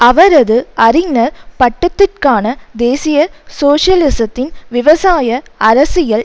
அவரது அறிஞர் பட்டத்திற்கான தேசிய சோசியலிசத்தின் விவசாய அரசியல்